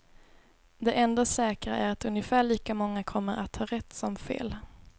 Det enda säkra är att ungefär lika många kommer att ha rätt som fel.